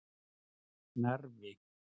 Narfi